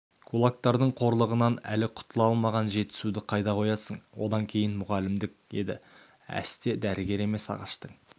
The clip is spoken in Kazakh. кулактардың қорлығынан әлі құтыла алмаған жетісуды қайда қоясың одан кейін мұғалімдік еді әсте дәрігер емес ағаштың